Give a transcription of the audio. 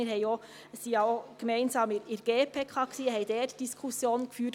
Wir waren ja auch gemeinsam in der GPK und haben dort Diskussionen geführt.